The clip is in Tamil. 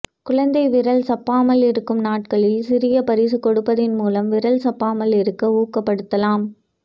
குழந்தை விரல் சப்பாமல் இருக்கும் நாட்களில் சிறிய பரிசு கொடுப்பதன் மூலம்விரல் சப்பாமல் இருக்க ஊக்க படுத்தலாம்